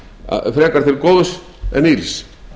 en ills frekar til góðs en ills